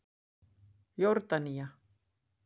Jórdanía